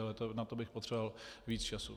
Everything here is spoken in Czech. Ale na to bych potřeboval víc času.